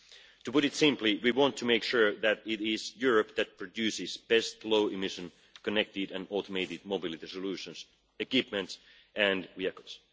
To put it simply, we want to make sure that it is Europe that produces the best low-emission, connected and automated mobility solutions, equipment and vehicles.